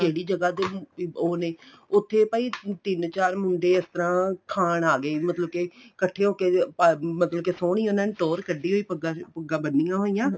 ਕਿਹੜੀ ਜਗ੍ਹਾ ਦੇ ਉਹ ਨੇ ਉੱਥੇ ਭਾਈ ਤਿੰਨ ਚਾਰ ਚਾਰ ਮੁੰਡੇ ਇਸ ਤਰ੍ਹਾਂ ਖਾਣ ਆ ਗਏ ਮਤਲਬ ਕੇ ਇੱਕਠੇ ਹੋਕੇ ਮਤਲਬ ਸੋਹਣੀ ਉਹਨਾ ਨੇ ਟੋਹਰ ਕੱਢੀ ਹੋਈ ਪੱਗਾਂ ਪੁਗਾਂ ਬੰਨੀਆਂ ਹੋਈਆ